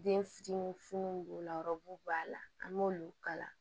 Den fitinin fininw b'o la b'a la an b'olu kala